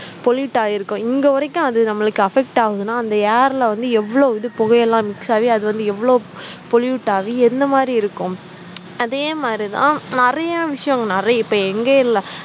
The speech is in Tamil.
pollute ஆயிருக்கும் இங்க வரைக்கும் அது நம்மளுக்கு affect ஆகுதுனா அந்த air ல வந்து எவ்ளோ இது புகையெல்லாம் mix ஆகி அது வந்து எவ்ளோ pollute ஆகி எந்த மாதிரி இருக்கும் அதே மாதிரி தான் நிறைய விஷயம் நிறைய இப்ப எங்கயும் இல்ல